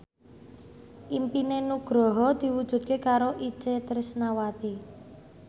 impine Nugroho diwujudke karo Itje Tresnawati